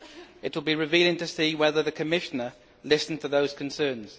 It will be revealing to see whether the Commissioner listened to those concerns.